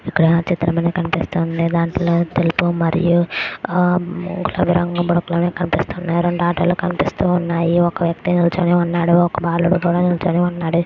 ఇక్క్కడ ఒక చిత్రం కనిపిస్తుంది.దన్తలో తెలుపు మరియు మూడు రంగులు కనిపిస్తున్నాయి.రెండు ఆటోలు కనిపిస్తూన్నాయి.ఒక వ్యక్తి నిల్చొని ఉన్నాడు. ఒక బాలుడు నిల్చొని ఉన్నాడు.